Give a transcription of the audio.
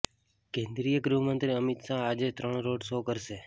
કેન્દ્રીય ગૃહમંત્રી અમિત શાહ આજે ત્રણ રોડ શો કરશે